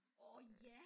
Orh ja